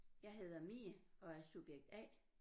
Jeg hedder Mie og er subjekt A